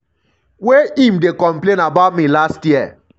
wey im dey complain about me last year.